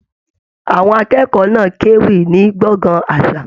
Àwọn akẹ́kọ̀ọ́ náà k'ewí ní gbọ̀ngán àṣà.